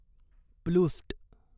प्लूस्ट